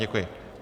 Děkuji.